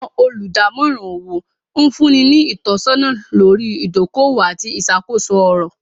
Awọn olùdamòran owó nfunni ni itọ̀sọna lórí idòkọ-owó àti iṣakoso ọ̀rọ̀.